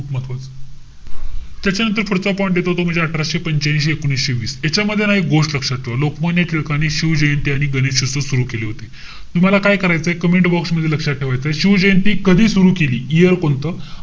त्याच्यानंतर पुढचा point येतो तो म्हणजे अठराशे पंच्यांशी, एकोणवीसशे वीस. याच्यामध्ये ना एक गोष्ट लक्षात ठेवा. लोकमान्य टिळकांनी शिवजयंती आणि गणेशोत्सव सुरु केले होते. तूम्हाला काय करायचंय? Commentbox मध्ये लक्षात ठेवायचंय. शिवजयंती कधी सुरु केली, year कोणतं?